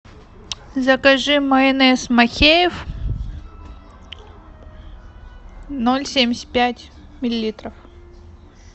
закажи майонез махеев ноль семьдесят пять миллилитров